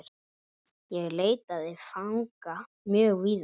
Ég leitaði fanga mjög víða.